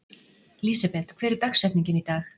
Lísebet, hver er dagsetningin í dag?